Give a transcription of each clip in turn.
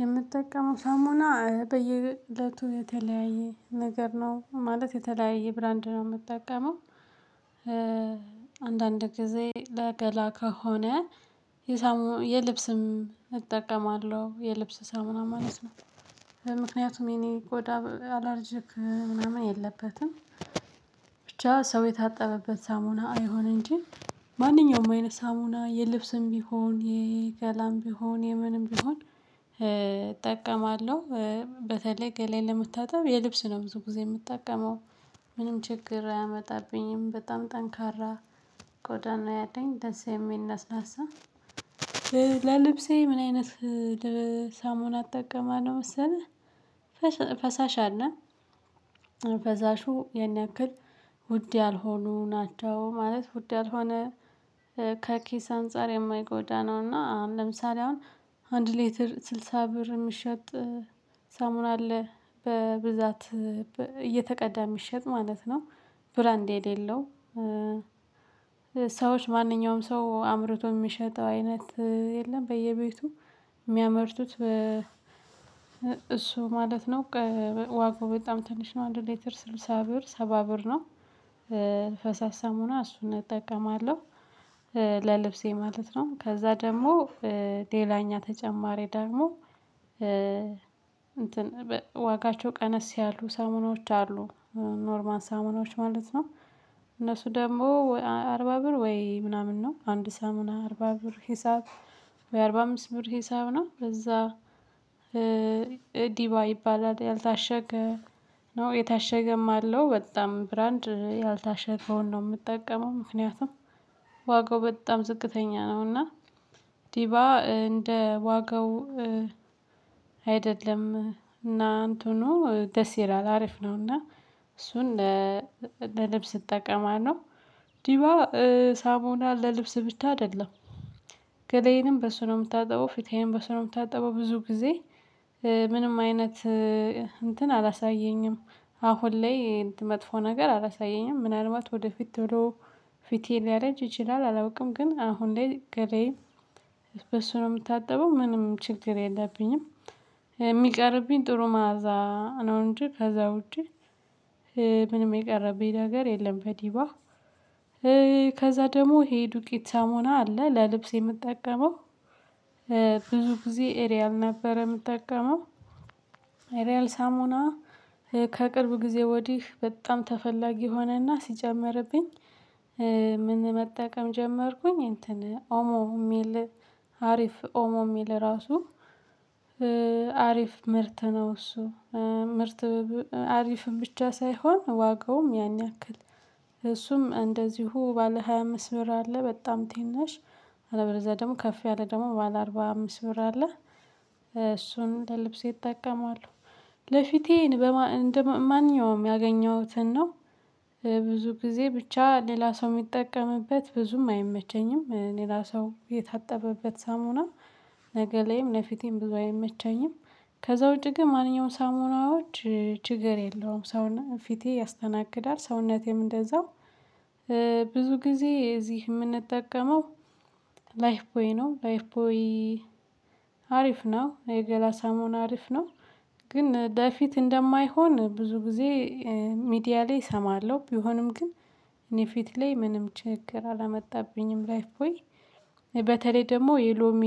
የምጠቀመው ሳሙና በየእለቱ የተለያየ ነገር ነው ማለት የተለያየ ብራንድ ነው የምጠቀመው። አንዳንድ ጊዜ ለገላ ከሆነ የሳሙና የልብስም እጠቀማለሁ የልብስ ሳሙና ማለት ነው። ምክንያቱም የኔ ቆዳ አላርጅክ ምናምን የለበትም። ብቻ ሰው የታጠበበት ሳሙና አይሁን እንጂ ማንኛውም አይነት ሳሙና የልብስም ቢሆን የገላም ቢሆን የምንም ቢሆን እጠቀማለሁ። በተለይ ገላዬን ለመታጠብ የልብስ ነው ብዙ ጊዜ የምጠቀመው። ምንም ችግር አያመጣብኝም በጣም ጠንካራ ቆዳ ነው ያለኝ ደስ የሚል ለስላሳ። ለልብሴ ምን አይነት ሳሙና እጠቀማለሁ መሰለህ ፈሳሽ አለ? ፈሳሹ ያን ያክል ውድ ያልሆኑ ናቸው ማለት ውድ ያልሆነ ከኪስ አንፃር የማይጎዳ ነው። እና ለምሳሌ አሁን አንድ ሌትር ስልሳ ብር እሚሸጥ ሳሙና አለ በብዛት እየተቀዳ እሚሸጥ ማለት ነው። ብራንድ የሌለው። ሰዎች ማንኛውም ሰው አምርቶ እሚሸጠው አይነት የለም በየቤቱ እሚያመርቱት እሱ ማለት ነው። ዋጋው በጣም ትንሽ ነው አንድ ሌትር ስልሳ ብር ሰባ ብር ነው። ፈሳሽ ሳሙና እሱን እጠቀማለሁ። ለልብሴ ማለት ነው ከዛ ደግሞ ሌላኛ ተጨማሪ ደግሞ ዋጋቸው ቀነስ ያሉ ሳሙናዎች አሉ። ኖርማል ሳሙናዎች ማለት ነው እነሱ ደግሞ አርባ ብር ወይ ምናምን ነው አንድ ሳሙና አርባ ብር ሂሳብ። ወይ አርባ አምስት ብር ሂሳብ ነው በዛ። ዲባ ይባላል ያልታሸገ ነው የታሸገም አለው በጣም ብራንድ ያልታሸገውን ነው የምጠቀመው። ምክንያቱም ዋጋው በጣም ዝቅተኛ ነው። እና ዲባ እንደ ዋጋው አይደለም እና አንትኑ ደስ ይላል አሪፍ ነውና እሱን ለልብስ እጠቀማለሁ። ዲቫ ሳሙና ለልብስ ብቻ አይደለም። ገለዬንም በሱ ነው እምታጠበው ፊቴዬንም በሱ ነው የምታጠበው ብዙ ጊዜ ምንም አይነት እንትን አላሳየኝም። አሁን ላይ መጥፎ ነገር አላሳየኝም ምናልባት ወደፊት ቶሎ ፊቴ ሊያረጅ ይችላል አላውቅም። ግን አሁን ላይ ገላዬ በሱ ነው እምታጠበው ምንም ችግር የለብኝም። የሚቀርብኝ ጥሩ መዓዛ ነው እንጂ ከዛ ውጪ ምንም የቀረበኝ ነገር የለም። በዲቫ ከዛ ደግሞ ይሄ ዱቄት ሳሙና አለ ለልብስ የምጠቀመው። ብዙ ጊዜ ኤሪያል ነበር እምጠቀመው ኤሪያል ሳሙና ከቅርብ ጊዜ ወዲህ በጣም ተፈላጊ ሆነና ሲጨመርብኝ። ምን መጠቀም ጀመርኩኝ እንትን ኦሞ እሚል አሪፍ ኦሞ እሚል ራሱ። አሪፍ ምርት ነው እሱ። ምርት አሪፍም ብቻ ሳይሆን ዋጋውም ያን ያክል እሱም እንደዚሁ ባለ ሃያ አምስት ብር አለ በጣም ትናሽ አለበለዛ ደግሞ ከፍ ያለ ደግሞ ባለ አርባ አምስት ብር አለ። እሱን ለልብሴ እጠቀማለሁ። ለፊቴ እንደ ማንኛውም ያገኘሁትን ነው። ብዙ ጊዜ ብቻ ሌላ ሰው እሚጠቀምበት ብዙም አይመቸኝም ሌላ ሰው የታጠበበት ሳሙና ነገ ላይም ለፊቴም ብዙ አይመቸኝም። ከዛ ውጪ ግን ማንኛውም ሳሙናዎች ችግር የለውም ሰሙና ፊቴ ያስተናግዳል ሰውነቴም እንደዛው። ብዙ ጊዜ እዚህ እምንጠቀመው ላይፍ ቦይ ነው ላይፍ ቦይ አሪፍ ነው የገላ ሳሙና አሪፍ ነው። ግን ለፊት እንደማይሆን ብዙ ጊዜ ሚዲያ ላይ እሰማለሁ ቢሆንም ግን እኔ ፊት ላይ ምንም ችግር አላመጣብኝም ላይፍ ቦይ። በተለይ ደግሞ የሎሚ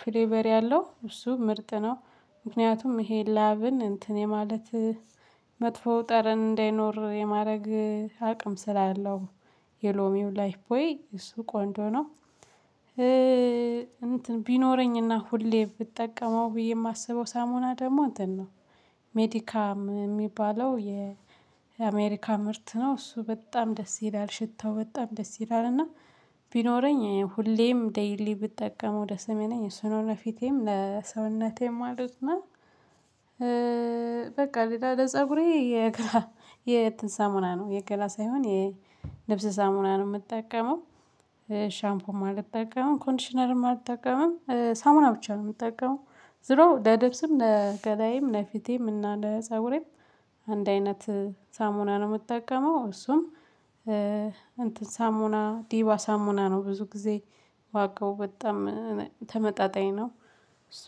ፍሌቨር ያለው እሱ ምርጥ ነው። ምክንያቱም ይሄ ላብን እንትን የማለት መጥፎ ጠረን እንዳይኖር የማድረግ አቅም ስላለው የሎሚው ላይፍ ቦይ እሱ ቆንጆ ነው። እንትን ቢኖረኝና ሁሌ ብጠቀመው ብዬ እማስበው ሳሙና ደግሞ እንተን ነው። ሜዲካም እሚባለው የአሜሪካ ምርት ነው እሱ በጣም ደስ ይላል ሽታው በጣም ደስ ይላል እና ቢኖረኝ ሁሌም ዴይሊ ብጠቀመው ደስ እሚለኝ እሱ ነው ለፊቴም ለሰውነቴም ማለት ነው። በቃ ሌላ ለፀጉሬ የእንትን ሳሙና ነው የገላ ሳይሆን የልብስ ሳሙና ነው እምጠቀመው። ሻምፖም አልጠቀምም ኮንዲሽነርም አልጠቀምም ሳሙና ብቻ ነው እምጠቀመው። ዝሮ ለልብስም ለገላዬም ለፊቴም እና ለፀጉሬም አንድ አይነት ሳሙና ነው እምጠቀመው። እሱም እንትን ሳሙና ዲባ ሳሙና ነው። ብዙ ጊዜ ዋጋው በጣም ተመጣጣኝ ነው።